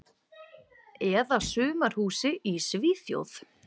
Eða sumarhúsi í Svíþjóð.